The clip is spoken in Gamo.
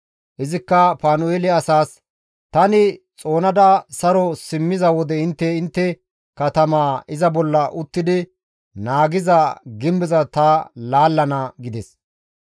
Izikka Panu7eele asaas, «Tani xoonada saro simmiza wode intte intte katamaa iza bolla uttidi naagiza gimbeza ta laallana» gides.